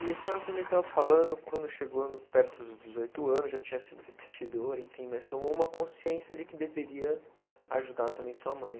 E a senhora também estava falando, quando chegou perto dos dezoito anos, já tinha sido repetidora, enfim, mas tomou uma consciência de que deveria ajudar também sua mãe.